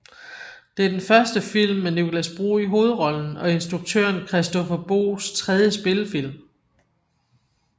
Det er den første film med Nicolas Bro i hovedrollen og instruktøren Christoffer Boes tredje spillefilm